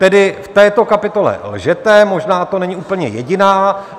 Tedy v této kapitole lžete, možná to není úplně jediná.